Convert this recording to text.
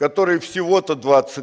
который всего-то двадцать